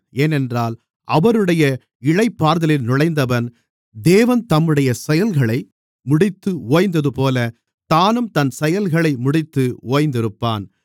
ஏனென்றால் அவருடைய இளைப்பாறுதலில் நுழைந்தவன் தேவன் தம்முடைய செயல்களை முடித்து ஓய்ந்ததுபோல தானும் தன் செயல்களை முடித்து ஓய்ந்திருப்பான்